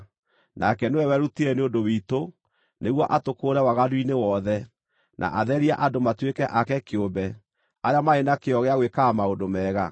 Nake nĩwe werutire nĩ ũndũ witũ, nĩguo atũkũũre waganu-inĩ wothe, na atherie andũ matuĩke ake kĩũmbe, arĩa marĩ na kĩyo gĩa gwĩkaga maũndũ mega.